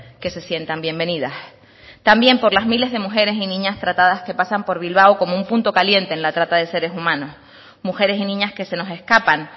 que se sientan bienvenidas también por las miles de mujeres y niñas tratadas que pasan por bilbao como un punto caliente en la trata de seres humanos mujeres y niñas que se nos escapan